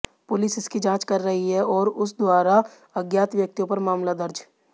police इसकी जांच कर रही है और उस द्वारा अज्ञात व्यक्तियों पर मामला दर्ज